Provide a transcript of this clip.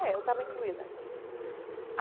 É eu estava incluída nisso.